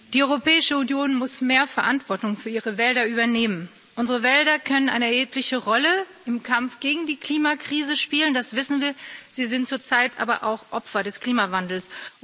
Herr Präsident! Die Europäische Union muss mehr Verantwortung für ihre Wälder übernehmen. Unsere Wälder können eine erhebliche Rolle im Kampf gegen die Klimakrise spielen, das wissen wir, sie sind zurzeit aber auch Opfer des Klimawandels.